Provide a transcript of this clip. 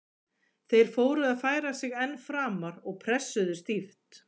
Þeir fóru að færa sig enn framar og pressuðu stíft.